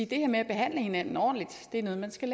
det her med at behandle hinanden ordentligt er noget man skal